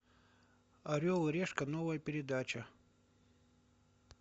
орел и решка новая передача